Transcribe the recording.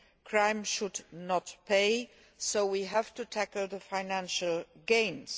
Crime should not pay, so we have to tackle the financial gains.